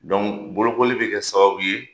Dɔnku bolokoli be kɛ sababu ye